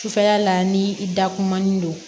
Sufɛla la ni i dakumumanin don